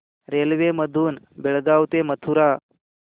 railway मधून बेळगाव ते मथुरा